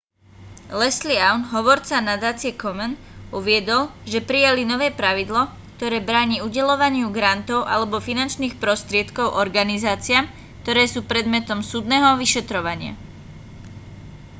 leslie aun hovorca nadácie komen uviedol že prijali nové pravidlo ktoré bráni udeľovaniu grantov alebo finančných prostriedkov organizáciám ktoré sú predmetom súdneho vyšetrovania